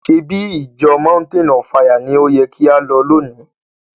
Ṣebí ìjọ Mountain of fire ni o yẹ kí á lọ lóni?